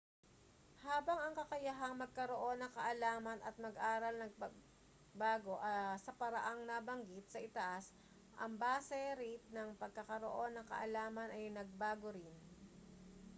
habang ang kakayahang magkaroon ng kaalaman at mag-aral ay nagbago sa paraang nabanggit sa itaas ang base rate ng pagkakaroon ng kaalaman ay nagbago rin